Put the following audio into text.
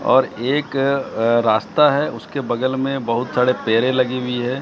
और एक रास्ता है उसके बगल में बहोत सारे पेड़े लगी हुई है।